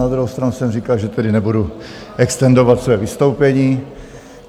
Na druhou stranu jsem říkal, že tedy nebudu extendovat své vystoupení.